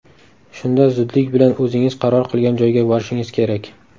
Shunda zudlik bilan o‘zingiz qaror qilgan joyga borishingiz kerak.